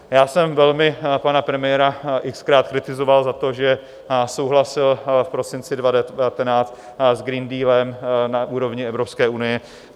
Já jsem velmi pana premiéra x-krát kritizoval za to, že souhlasil v prosinci 2019 s Green Dealem na úrovni Evropské unie.